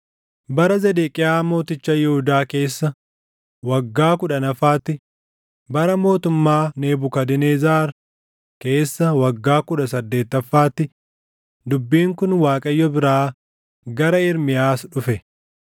Bara Zedeqiyaa mooticha Yihuudaa keessa waggaa kudhannaffaatti bara mootummaa Nebukadnezar keessa waggaa kudha saddeettaffaatti, dubbiin kun Waaqayyo biraa gara Ermiyaas dhufe.